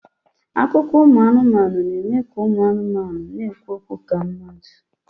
Akụkọ ụmụ anụmanụ na-eme ka ụmụ anụmanụ na-ekwu okwu ka mmadụ